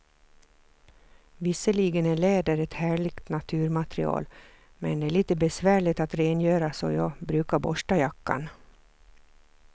Visserligen är läder ett härligt naturmaterial, men det är lite besvärligt att rengöra, så jag brukar borsta jackan.